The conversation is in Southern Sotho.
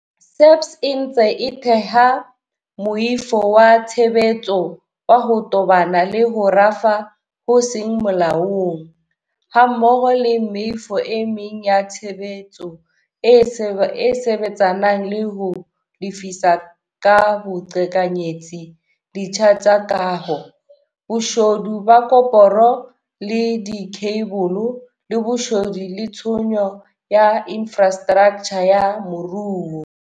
SAPS e ntse e theha moifo wa tshebetso wa ho tobana le ho rafa ho seng molaong, hammoho le meifo e meng ya tshebetso e sebetsanang le ho lefisa ka boqhekanyetsi ditsha tsa kaho, boshodu ba koporo le dikheibole, le boshodu le tshenyo ya infrastraktjha ya moruo.